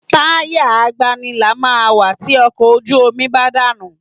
Táyà agbanilà máa ń wà tí ọkọ̀ ojú omi bá dànù